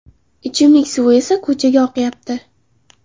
Ichimlik suvi esa ko‘chaga oqayapti.